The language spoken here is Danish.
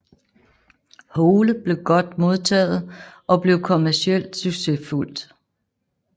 Hole blev godt modtaget og blev kommercielt succesfuldt